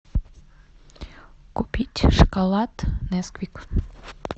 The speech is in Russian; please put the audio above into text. купить шоколад несквик